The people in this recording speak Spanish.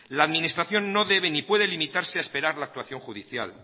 la administración no debe ni puede limitarse a esperar la actuación judicial